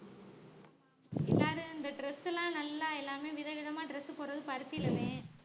எல்லாரும் இந்த dress எல்லாம் நல்லா எல்லாமே விதவிதமா dress போடறது பருத்தியிலேதான்